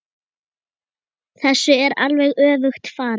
Þessu er alveg öfugt farið.